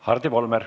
Hardi Volmer.